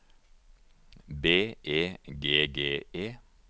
B E G G E